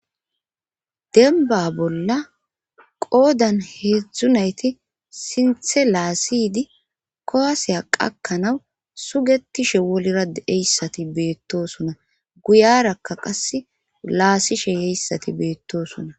denba bolla qoodan heedzdzunayti sinthe laasiydi koaseya qakkanaw sugetishe wolira eyssati beettosuna guyarakka qas laasishe yeyssati beettoosuna